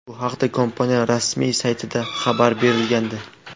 Bu haqda kompaniya rasmiy saytida xabar berilgandi .